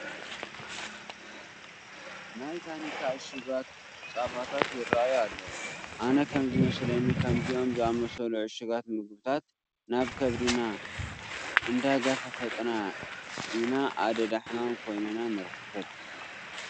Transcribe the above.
ናይ ታኒካ እሹጋት ፃባታት ይርአዩ ኣለዉ፡፡ ኣነ ከምዝመስለኒ ከምዚኦም ዝኣምሰሉ ዕሹጋት ምግብታት ናብ ከብድና እንዳገፋፈጥና ኢና ኣደዳ ሕማማት ኮይንና ንርከብ፡፡